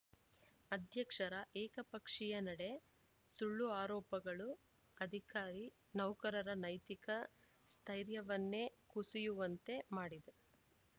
ಅಧ್ಯಕ್ಷರ ಏಕಪಕ್ಷೀಯ ನಡೆ ಸುಳ್ಳು ಆರೋಪಗಳು ಅಧಿಕಾರಿ ನೌಕರರ ನೈತಿಕ ಸ್ಥೈರ್ಯವನ್ನೇ ಕುಸಿಯುವಂತೆ ಮಾಡಿದೆ